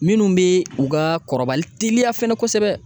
Minnu bɛ u ka kɔrɔbali teliya fɛnɛ kosɛbɛ.